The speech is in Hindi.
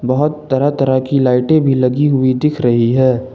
बहोत तरह तरह की लाइटें भी लगी हुई दिख रही है।